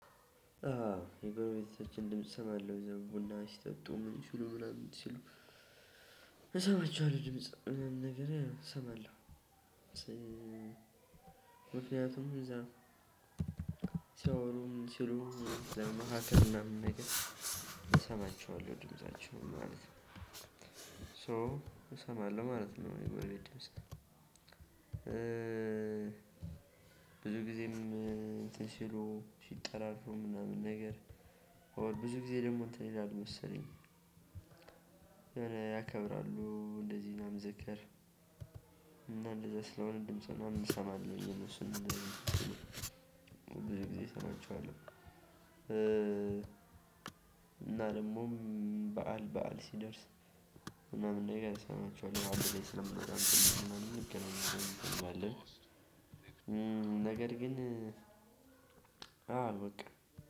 አዎ የጎረቤቶችን ድምጽ እሰማለሁ እዛው ቡና ሲጠጡ ምን ሲሉ ምናምን ሲሉ እሰማችኋለሁ ድምጽ ምናምን ነገር እሰማለሁ። ምክንያቱም እዛ ሲያወሩ ምን ሲሉ እዛ መካከል ምናምን ነገር እሰማቸዋለሁ ድምፃችን ማለት ነው። ሶ እሰማለሁ ማለት ነው የጎረቤት ድምጽ ብዙ ጊዜም እንትን ሲሉ ሲጠራሩ ምናምን ነገር ብዙ ጊዜ ደግሞ እንትን ይላል መሰለኝ። ያከብራሉ እንደዚህ ምናምን ዝክር እና እንደዛ ስለሆነ ድምጽ ምናምን እሰማለሁ። የእነሱን ጊዜ እሰማቸዋለሁ። እና ደግሞም በዓል ሲደርስ ምናምን ነገር እሰማቸዋለሁ። አንድ ላይ ስለምናከብር ምናምን እንገናኛለን፣ እናከብራለን። ነገር ግን አዎ በቃ